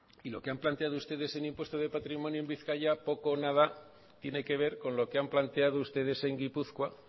y lo que han planteado ustedes en impuesto de patrimonio en bizkaia poco o nada tiene que ver con lo que han planteado ustedes en gipuzkoa